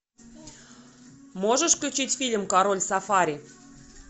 можешь включить фильм король сафари